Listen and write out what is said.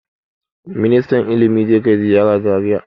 Ministan ilimi zai kai ziyara Zariya gobe.